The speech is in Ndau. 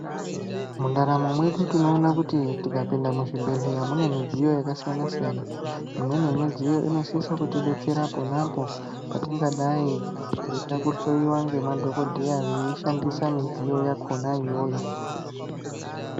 Mundaramo mwedu tinoona kuti tikapinda muzvibhendleya mune midziyo yakasiyana siyana. Imweni yemidziyo inosisa kutibetsera ponapo petingadai teida kuhloiwa ngemadhokodheya veishandisa midziyo yakhona iyoyo.